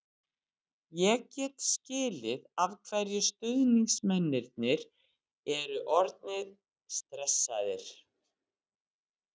Ég get skilið af hverju stuðningsmennirnir eru orðnir stressaðir.